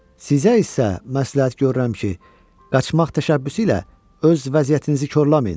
"Sizə isə məsləhət görürəm ki, qaçmaq təşəbbüsü ilə öz vəziyyətinizi korlamayın."